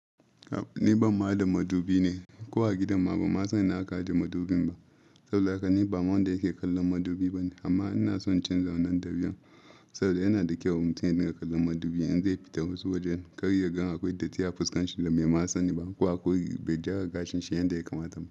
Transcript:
Ni ban ma ɗa madubi ne, ko a gidanma ba ma san ina aka ajiye madubin ba. Saboda haka ni ba ma wanda yake kallon madubi ba ne, amma ina son in canza wannan da biyan. Saboda yana da kyau mutum ya dinga kallon madubi, in zai fita wasu wajen kar yagan akwai datti a fuskan shi da bai ma sani ba, ko akwai bai jara gashin shi yanda ya kamata ba.